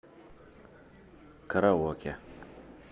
караоке